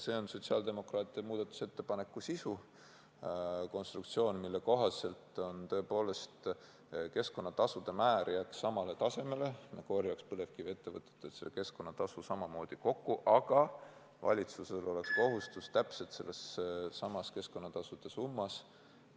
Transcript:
See on sotsiaaldemokraatide muudatusettepaneku sisu: konstruktsioon, mille kohaselt tõepoolest keskkonnatasude määr jääks samale tasemele, me korjaks põlevkiviettevõtetelt selle keskkonnatasu samamoodi kokku, aga valitsusel oleks kohustus täpselt sellessamas keskkonnatasude summas ...